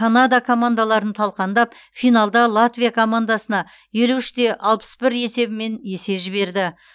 канада командаларын талқандап финалда латвия командасына елу үште алпыс бір есебімен есе жіберді